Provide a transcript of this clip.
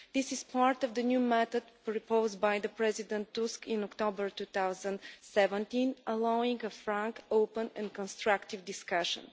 This is part of the new method proposed by President Tusk in October 2017, allowing a frank, open and constructive discussion.